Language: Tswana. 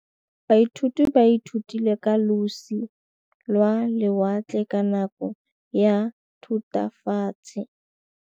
Baithuti ba ithutile ka losi lwa lewatle ka nako ya Thutafatshe.